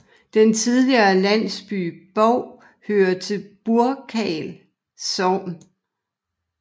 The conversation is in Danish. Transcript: Den tidligere landsby Bov hører til Burkal Sogn